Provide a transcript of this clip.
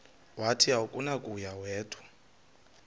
wathi akunakuya wedw